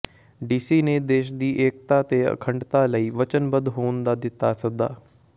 DC ਨੇ ਦੇਸ਼ ਦੀ ਏਕਤਾ ਤੇ ਅਖੰਡਤਾ ਲਈ ਵਚਨਬੱਧ ਹੋਣ ਦਾ ਦਿੱਤਾ ਸੱਦਾ